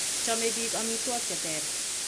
Chobei biik amitwokik che ter.